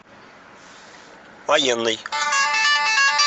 военный